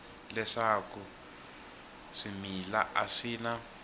leswaku swimila a swi na